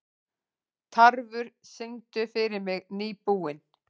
Tarfur, syngdu fyrir mig „Nýbúinn“.